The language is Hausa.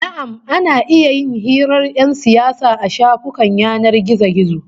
Na'am, ana iya jin hirar 'yan siyasa a shafukan yanar gizo